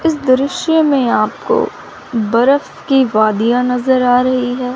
इस दृश्य में आपको बरफ़ की वादियां नजर आ रही है।